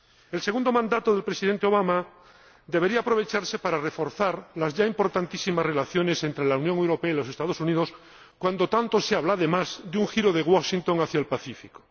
El segundo mandato del Presidente Obama debería aprovecharse para reforzar las ya importantísimas relaciones entre la Unión Europea y los Estados Unidos cuando tanto se habla, además, de un giro de Washington hacia el Pacífico.